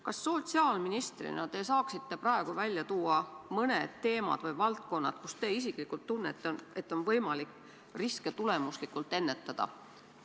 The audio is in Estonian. Kas te sotsiaalministrina saaksite praegu välja tuua mõned teemad või valdkonnad, mille puhul te isiklikult tunnete, et on võimalik riske tulemuslikult ennetada?